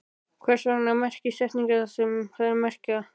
Hvers vegna merkja setningar það sem þær merkja?